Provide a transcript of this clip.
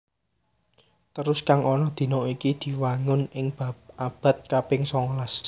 Terusan kang ana dina iki diwangun ing abad kaping songolas